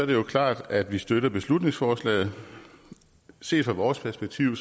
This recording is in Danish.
det jo klart at vi støtter beslutningsforslaget set fra vores perspektiv